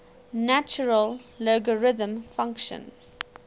natural logarithm function